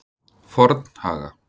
Fornhaga